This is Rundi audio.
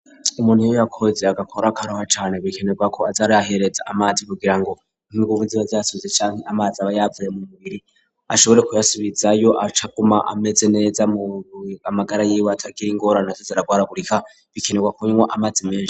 Umuntu iyo yakoze agakora akaruha cane bikenerwa ko aza arihereza amazi kugira ngo nk'inguvu ziba zaheze cane, amazi aba yavuye mu mubiri ashobore kuyasubizayo acaguma ameze neza mumagara y'iwe atagire ingorane zo kugwaragurika bikenerwa kunywa amazi menshi.